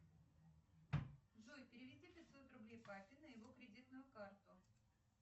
джой переведи пятьсот рублей папе на его кредитную карту